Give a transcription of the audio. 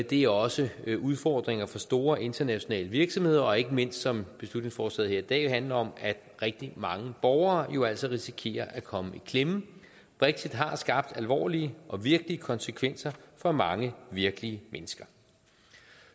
det er også udfordringer for store internationale virksomheder og ikke mindst som beslutningsforslaget her i dag handler om at rigtig mange borgere jo altså risikerer at komme i klemme brexit har skabt alvorlige og virkelige konsekvenser for mange virkelige mennesker